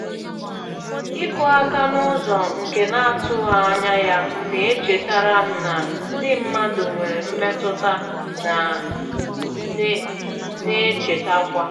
Ịkụ áka n'ụzọ nke n'atụghị ányá ya na-echetara m na ndị mmadụ nwere mmetụta na -echetakwa.